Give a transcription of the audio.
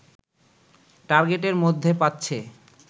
টার্গেটের মধ্যে পাচ্ছে